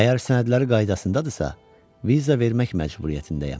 Əgər sənədləri qaydasındadırsa, viza vermək məcburiyyətindəyəm.